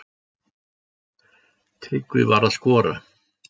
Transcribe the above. Tryggvi var að skora.